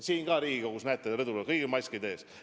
Siin Riigikogus, näete, rõdul on kõigil maskid ees.